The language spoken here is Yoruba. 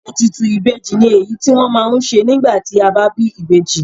Ètùtù ìbejì ni èyí tí wọ́n ma ń ṣe nígbà tí a bá bí ìbejì.